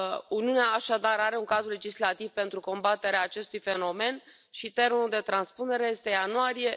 Uniunea, așadar, are un cadru legislativ pentru combaterea acestui fenomen și termenul de transpunere este ianuarie